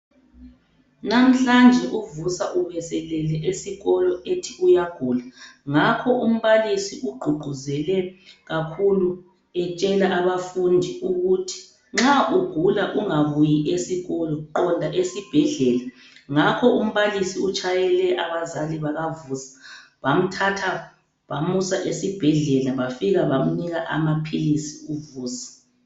Namhlanje uVusa ubeselele esikolo ethi uyagula ngakho umbalisi ugqugquzele kakhulu etshela abafundi ukuthi nxa ugula ungabuyi esikolo qonda esibhedlela, ngakho umbalisi utshayele abazali bakaVusa bamthatha bamusa esibhedlela bafika bamnika amaphilisi uVusa.